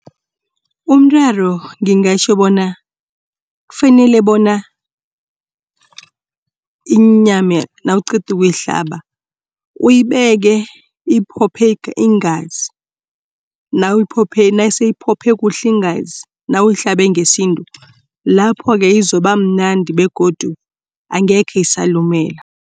Umraro ngingatjho bona kufanele bona inyama nawuqeda ukuyihlaba. Uyibeke iphopho iingazi, naseyiphopho kuhle iingazi nawuyihlabe ngesintu lapho-ke izobamnandi begodu angekhe isalumela.